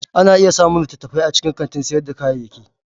Ana iya samun littattafai a cikin kantin sayar da kayayyaki.